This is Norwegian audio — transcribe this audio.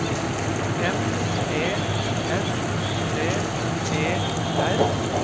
M E S T E R